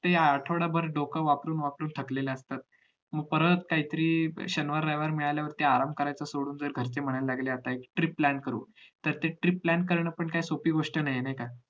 कि आठवडाभर डोकं वापरून वापरून थकलेले असतात मग परत काही तरी शनिवार रविवार मिळाल्यावरती आराम कारायचा सोडून जर घरचे म्हणायला लागले कि trip plan करु तर ते trip plan कारण पण काय सोपी गोष्ट नाही आहे नाही का